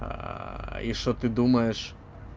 и что ты думаешь